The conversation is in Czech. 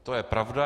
To je pravda.